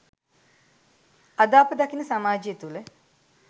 අද අප දකින සමාජය තුල